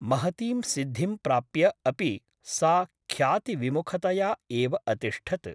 महतीं सिद्धिं प्राप्य अपि सा ख्यातिविमुखतया एव अतिष्ठत् ।